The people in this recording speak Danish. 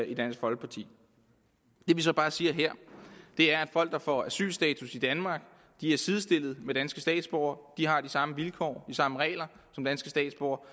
i dansk folkeparti det vi så bare siger her er at folk der får asylstatus i danmark er sidestillet med danske statsborgere de har de samme vilkår samme regler som danske statsborgere